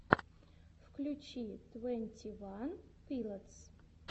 включи твенти ван пилотс